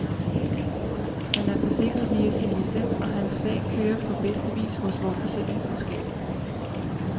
Han er forsikret via sin licens, og hans sag kører på bedste vis hos vort forsikringsselskab.